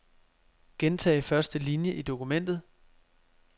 Gentag første linie i dokumentet.